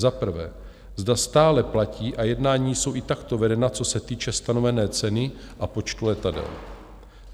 Za prvé, zda stále platí, a jednání jsou i takto vedena, co se týče stanovené ceny a počtu letadel?